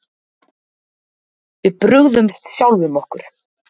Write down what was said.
Við brugðumst sjálfum okkur